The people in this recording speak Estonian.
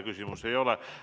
Küsimusi ei ole.